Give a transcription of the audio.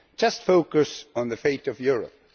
Just focus on the fate of Europe.